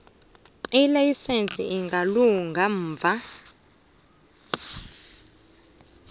ilayisense ingalunga ngemva